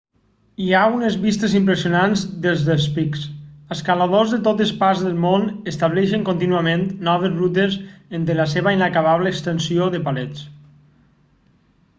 hi ha unes vistes impressionants des dels pics escaladors de totes parts del món estableixen contínuament noves rutes entre la seva inacabable extensió de parets